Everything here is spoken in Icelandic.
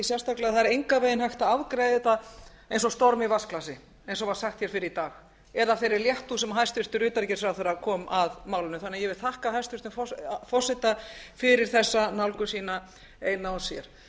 sérstaklega hægt að afgreiða þetta eins og storm í vatnsglasi eins og sagt var hér fyrr í dag eða af þeirri léttúð sem hæstvirtur utanríkisráðherra kom að málinu ég vil því þakka hæstvirtum forseta fyrir þessa nálgun sína eina og sér